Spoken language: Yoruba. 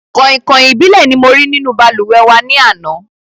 Kọ̀ìnkọ̀ìn ìbílẹ̀ ni mo rí nínú balùwẹ̀ wà ní àná